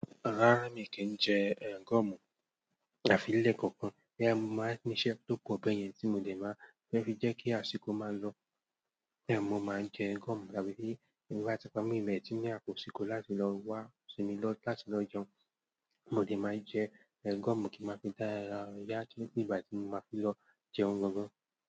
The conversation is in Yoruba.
Rárá mi kì í jẹ gum àfi ilé kankan bí ẹ́ máa ní iṣẹ́ tó pọ̀ bẹ́yẹn tí mo lè máa fẹ́ fi jẹ́ kí àsìkò máa lọ. Bí ẹ́ mo máa jẹ gum tàbí bí ìgbà tí ọmọ mi mẹ́tìnín àpò sì kó láti lọ wá sinmi lọ́ láti lọ jẹun, mo lè máa jẹ gum kí n máa fi dára yá kí ìgbà tí mo máa fi lọ jẹun gan gan.